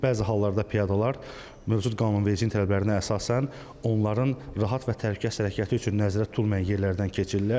Bəzi hallarda piyadalar mövcud qanunvericiliyin tələblərinə əsasən, onların rahat və təhlükəsiz hərəkəti üçün nəzərdə tutulmayan yerlərdən keçirlər.